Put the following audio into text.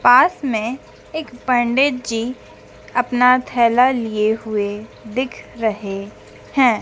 पास में एक पंडित जी अपना थैला लिए हुए दिख रहे हैं।